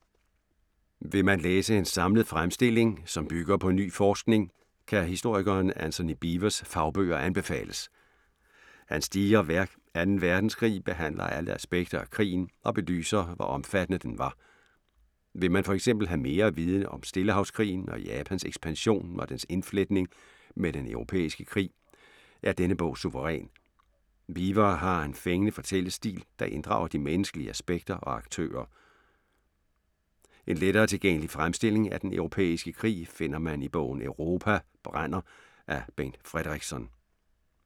Vil man læse en samlet fremstilling, som bygger på ny forskning, kan historikeren Antony Beevors fagbøger anbefales. Hans digre værk 2. Verdenskrig behandler alle aspekter af krigen og belyser, hvor omfattende den var. Vil man for eksempel have mere at vide om Stillehavskrigen og Japans ekspansion og dens indfletning med den europæiske krig, er denne bog suveræn. Beevor har en fængende fortællestil, der inddrager de menneskelige aspekter og aktører. En lettere tilgængelig fremstilling af den europæiske krig, finder man i bogen Europa brænder af Bengt Fredrikson.